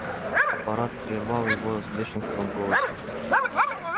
аппарат прервал его с бешенством в голосе